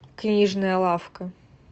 книжная лавка